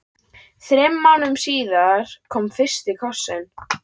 Þremur mánuðum síðar kom fyrsti kossinn.